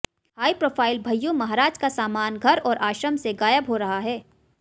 high profile Bhaiyyu Maharaj का सामान घर और आश्रम से गायब हो रहा है